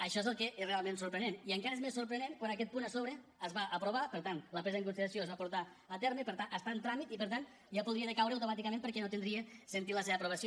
això és el que és realment sorprenent i encara és més sorprenent quan aquest punt a sobre es va aprovar per tant la presa en consideració es va portar a terme i per tant està en tràmit i per tant ja podria decaure automàticament perquè no tindria sentit la seva aprovació